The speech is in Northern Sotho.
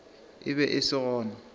e be e se gona